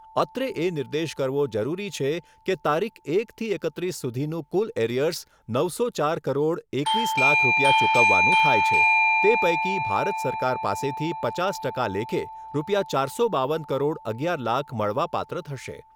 અત્રે એ નિર્દેશ કરવો જરૂરી છે કે તારીખ એકથી એકત્રીસ સુધીનું કુલ એરિયર્સ નવસો ચાર કરોડ એકવીસ લાખ રૂપિયા ચુકવવાનું થાય છે તે પૈકી ભારત સરકાર પાસેથી પચાસ ટકા લેખે રૂપિયા ચારસો બાવન કરોડ અગિયાર લાખ મળવાપાત્ર થશે.